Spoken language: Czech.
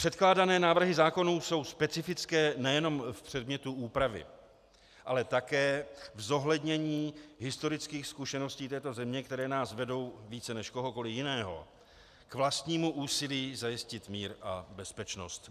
Předkládané návrhy zákonů jsou specifické nejenom v předmětu úpravy, ale také v zohlednění historických zkušeností této země, které nás vedou více než kohokoliv jiného k vlastnímu úsilí zajistit mír a bezpečnost.